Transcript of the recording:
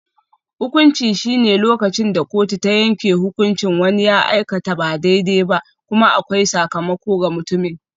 Hukunci shine lokacin da kotu ta yanke hukuncin wani ya aikata ba daidai ba, kuma akwai sakamako ga mutumin.